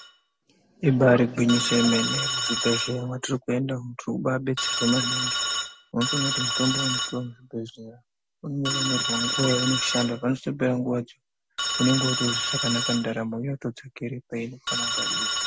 Imbari gwinyiso yomene muzvibhodhlera mwatiri kuenda umu tirikuba betserwa maningi unotoona kuti mutombo wandapuwa kuchibhedhlera unenge wakanyorwa nguwa yaunoshanda panozotopera nguwadzo unenge wotozwa zvakanaka ndaramo yotodzokere painofanira kunga iri.